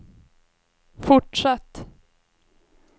fortsatt